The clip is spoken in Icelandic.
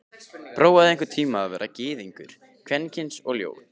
Prófaðu einhvern tíma að vera gyðingur, kvenkyns og ljót.